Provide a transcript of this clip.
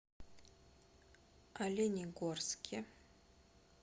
оленегорске